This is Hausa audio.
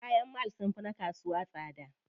Kayan mall sunfi na kasuwa tsada.